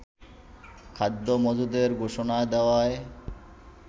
খাদ্য মজুদের ঘোষণা দেওয়ায়